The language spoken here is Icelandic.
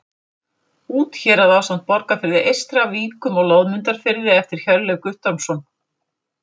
Úthérað ásamt Borgarfirði eystra, Víkum og Loðmundarfirði eftir Hjörleif Guttormsson.